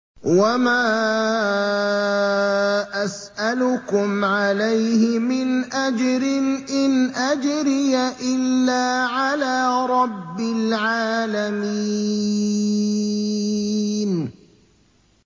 وَمَا أَسْأَلُكُمْ عَلَيْهِ مِنْ أَجْرٍ ۖ إِنْ أَجْرِيَ إِلَّا عَلَىٰ رَبِّ الْعَالَمِينَ